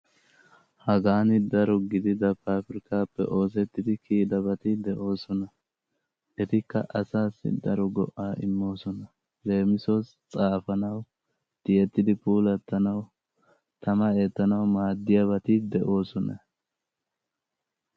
Hagan daro gidida pabirkkaappe oosettidi giigabati de'oosona. Etikka asaaassi daro go"a immoosona. Leemisuwassi xaafanawu, tiyeeridi puulatanawu, tama eettanawu maaddiyaabati de'oosona.